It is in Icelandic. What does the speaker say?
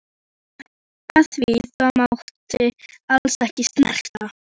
Af því það mátti ekki snerta.